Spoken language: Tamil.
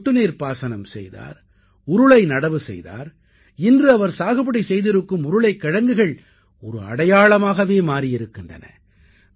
அவர் சொட்டுநீர்ப் பாசனம் செய்தார் உருளை நடவு செய்தார் இன்று அவர் சாகுபடி செய்திருக்கும் உருளைக் கிழங்குகள் ஒரு அடையாளமாகவே மாறியிருக்கின்றன